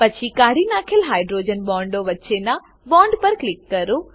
પછી કાઢી નાખેલ હાઇડ્રોજન બોન્ડો વચ્ચેનાં બોન્ડ પર ક્લિક કરો